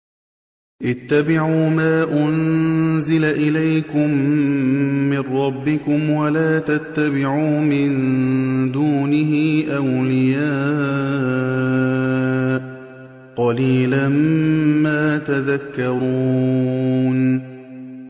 اتَّبِعُوا مَا أُنزِلَ إِلَيْكُم مِّن رَّبِّكُمْ وَلَا تَتَّبِعُوا مِن دُونِهِ أَوْلِيَاءَ ۗ قَلِيلًا مَّا تَذَكَّرُونَ